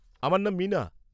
আমার নাম মীনা।